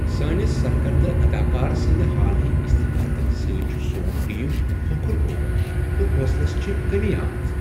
سٲنس سرکردٕ اداکار سٕنٛد حالٕے استعفا دنہٕ سۭتۍ چھ سون ٹیم کھۄکھُر گومت تہ حوصلس چھےٚ کٔمی آمٕژ۔